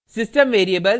* system variables